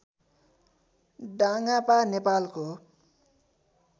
डाङापा नेपालको